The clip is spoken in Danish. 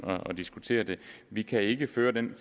at diskutere det vi kan ikke føre den